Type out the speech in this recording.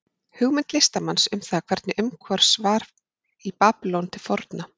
Hugmynd listamanns um það hvernig umhorfs var í Babýlon til forna.